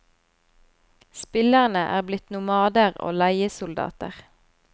Spillerne er blitt nomader og leiesoldater.